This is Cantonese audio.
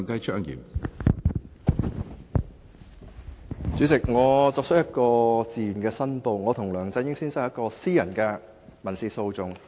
主席，我自願作出申報，我與梁振英先生涉及一宗私人民事訴訟。